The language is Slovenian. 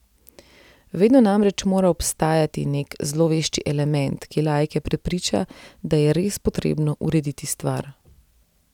Vedno namreč mora obstajati nek zlovešči element, ki laike prepriča, da je pa res potrebno urediti stvar.